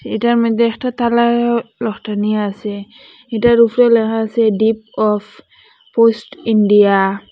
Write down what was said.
এটার মইদ্যে একটা তালা লটানি আসে এটার ওফরে লেখা আসে ডিপ অফ পোস্ট ইন্ডিয়া ।